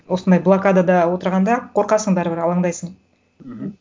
осындай блокадада отырғанда қорқасың бәрібір алаңдайсың мхм